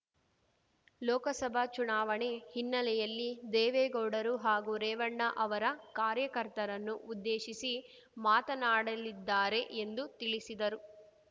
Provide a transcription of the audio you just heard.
ಲೋಕಸಭಾ ಚುನಾವಣೆ ಹಿನ್ನೆಲೆಯಲ್ಲಿ ದೇವೇಗೌಡರು ಹಾಗೂ ರೇವಣ್ಣ ಅವರ ಕಾರ್ಯಕರ್ತರನ್ನು ಉದ್ದೇಶಿಸಿ ಮಾತನಾಡಲಿದ್ದಾರೆ ಎಂದು ತಿಳಿಸಿದರು